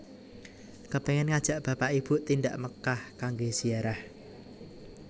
Kepengen ngajak bapak ibu tindak Mekkah kangge ziarah